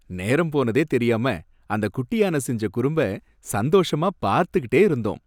நேரம் போனதே தெரியாம அந்த குட்டி யானை செஞ்ச குறும்ப சந்தோஷமா பார்த்துகிட்டே இருந்தோம்.